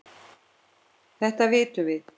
Þetta vitum við.